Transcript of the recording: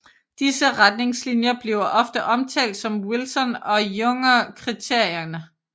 Disse retningslinjer bliver ofte omtalt som Wilson og Jungner Kriterierne